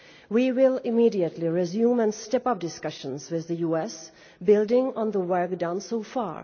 We will immediately resume and step up discussions with the US, building on the work done so far.